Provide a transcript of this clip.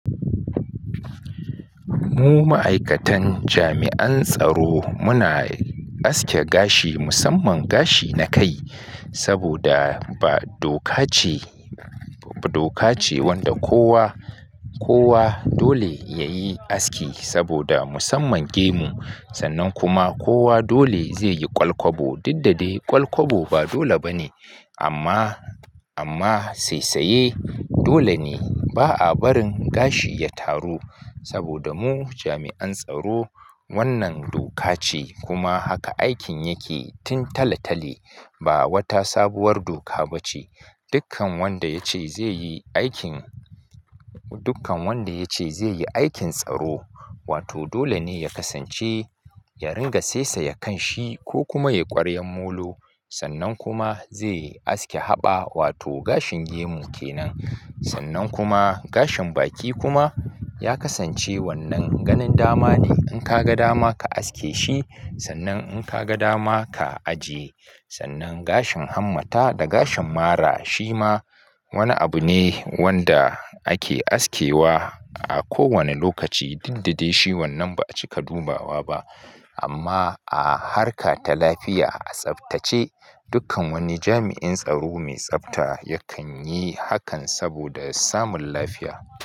Mu ma'aikatan jami'an tsaro muna aske gashi, musamman gashi na kai, saboda ba doka ce wanda kowa dole yayi aski saboda musamman gemu sannan kuma kowa dole zai yi kwalkwabo. Diddade kwalkwabo ba dole ba ne amma saisaye dole ne ba a barin gashi ya taru saboda mu jami'an tsaro wannan doka ce kuma haka aikin yake tun talatali ba wata sabuwar doka ba ce. Dukkan wanda ya ce zai yi aikin tsaro, dole ne ya kasance ya ringa saisaya kan shi ko kuma ya yi ƙwaryan molo sannan kuma zai aske haɓa wato gashin gemu ke nan. Sannan kuma gashin baki kuma ya kasance wannan ganin dama ne. In ka ga dama ka aske shi sannan in ka ga dama ka ajiye. Gashin hammata da gashin mara shi ma wani abu ne wanda ake askewa a kowane lokaci, diddade shi wannan ba a cika dubawa ba amma a harka ta lafiya a tsaftace. Dukkan wani jami'in tsaro mai tsafta yakan yi hakan saboda samun lafiya.